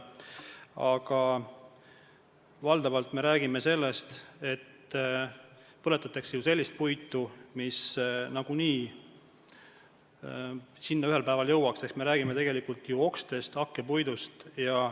Aga valdavalt me räägime sellest, et põletatakse ju sellist puitu, mis nagunii ühel päeval kateldesse jõuaks ehk me räägime okstest, hakkpuidust.